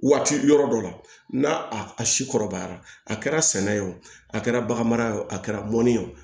Waati yɔrɔ dɔ la n'a si kɔrɔbayara a kɛra sɛnɛ ye o a kɛra baganmara ye o a kɛra mɔni ye o